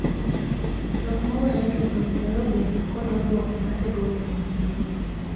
Jok mowere chuth owinjore obed kod oboke matego weruokgno